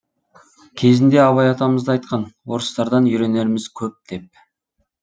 кезінде абай атамыз да айтқан орыстардан үйренеріміз көп деп